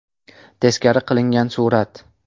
Teskari qilingan surat.